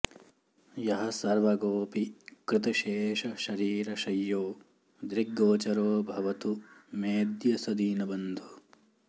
यः सर्वगोऽपि कृतशेषशरीरशय्यो दृग्गोचरो भवतु मेऽद्य स दीनबन्धुः